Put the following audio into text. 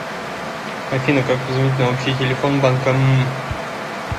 афина как позвонить на общий телефон банка м